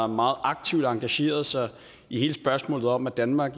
meget aktivt har engageret sig i hele spørgsmålet om at danmark